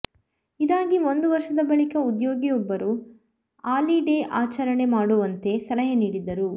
ಇದಾಗಿ ಒಂದು ವರ್ಷದ ಬಳಿಕ ಉದ್ಯೋಗಿಯೊಬ್ಬರು ಆಲಿ ಡೇ ಆಚರಣೆ ಮಾಡುವಂತೆ ಸಲಹೆ ನೀಡಿದ್ದರು